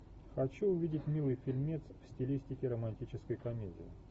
хочу увидеть милый фильмец в стилистике романтической комедии